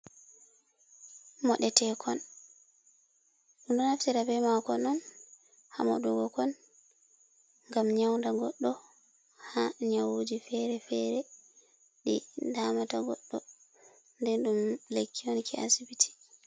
Moɗetekon, ɗum ɗo naftira be makon on, hamoɗugo kon, ngam nyauda goddo, ha nyawuji fere-fere ɗi damata goɗɗo. Nden ɗum lekki on ki asbiti.